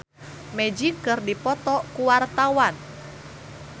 Uyan Suryana jeung Magic keur dipoto ku wartawan